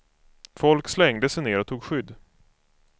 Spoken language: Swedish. Folk slängde sig ner och tog skydd.